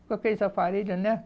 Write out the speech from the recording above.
com aqueles aparelhos, né?